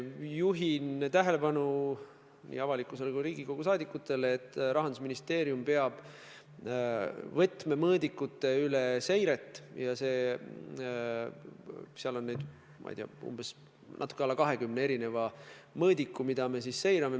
Juhin nii avalikkuse kui ka Riigikogu liikmete tähelepanu sellele, et Rahandusministeerium teeb võtmemõõdikute seiret ja seal on natuke alla 20 mõõdiku, mida me siis seirame.